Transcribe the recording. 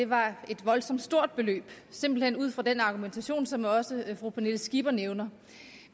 var et voldsomt stort beløb simpelt hen ud fra den argumentation som også fru pernille skipper nævner